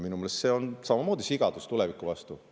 Minu meelest see on samamoodi sigadus tuleviku mõttes.